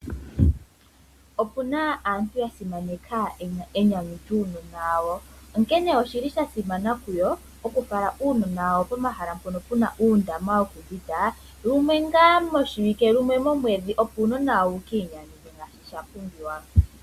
Opuna aantu yasimaneka enyanyu lyuunona wawo. Onkene shasimana okufala uunona wawo pomahala goku mbwinda lumwe ngaa moshiwike, lumwe momwedhi opo wukiiuvithe nawa.